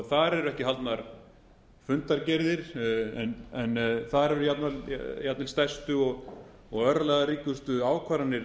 þar eru ekki haldnar fundargerðir en þar eru jafnvel stærstu og örlagaríkustu ákvarðanir